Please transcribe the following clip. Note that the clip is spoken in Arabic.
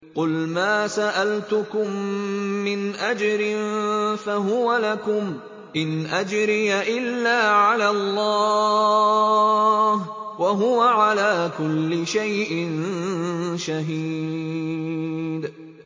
قُلْ مَا سَأَلْتُكُم مِّنْ أَجْرٍ فَهُوَ لَكُمْ ۖ إِنْ أَجْرِيَ إِلَّا عَلَى اللَّهِ ۖ وَهُوَ عَلَىٰ كُلِّ شَيْءٍ شَهِيدٌ